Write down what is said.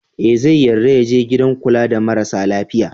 E, zai yarda ya je gidan kula da marasa lafiya.